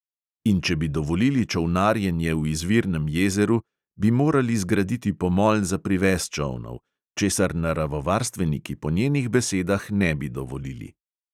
In če bi dovolili čolnarjenje v izvirnem jezeru, bi morali zgraditi pomol za privez čolnov, česar naravovarstveniki po njenih besedah ne bi dovolili.